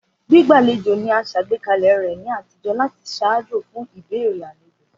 Gbígbàlejò ni a sàgbékalẹ̀ rẹ ni àtijó láti ṣaajo fun ìbéèrè alejo.